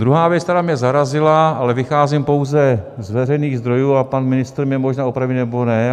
Druhá věc, která mě zarazila, ale vycházím pouze z veřejných zdrojů a pan ministr mě možná opraví, nebo ne.